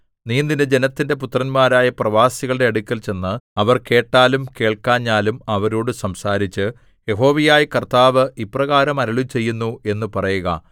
നീ നിന്റെ ജനത്തിന്റെ പുത്രന്മാരായ പ്രവാസികളുടെ അടുക്കൽ ചെന്ന് അവർ കേട്ടാലും കേൾക്കാഞ്ഞാലും അവരോടു സംസാരിച്ച് യഹോവയായ കർത്താവ് ഇപ്രകാരം അരുളിച്ചെയ്യുന്നു എന്ന് പറയുക